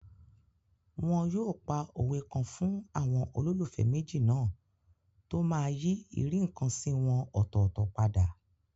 Wọn yóò pa òwe kan fún àwọn olólùfẹ́ méjì náà tó máa yí ìríǹkansí wọn ọ̀tọ̀ọ̀tọ̀ padà